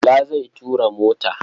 Bala zai tura mota.